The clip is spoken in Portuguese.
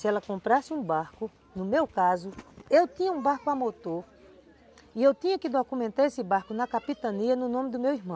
Se ela comprasse um barco, no meu caso, eu tinha um barco a motor e eu tinha que documentar esse barco na capitania no nome do meu irmão.